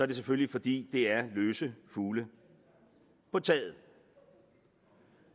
det selvfølgelig fordi det er løse fugle på taget